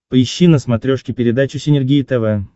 поищи на смотрешке передачу синергия тв